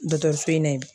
Dɔkɔtɔrɔso in na